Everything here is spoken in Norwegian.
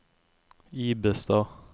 Ibestad